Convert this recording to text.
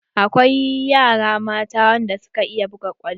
Akwai yara mata da suka iya buga kwallo.